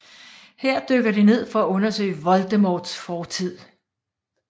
Her dykker de ned for at undersøge Voldemorts fortid